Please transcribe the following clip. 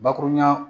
Bakurunya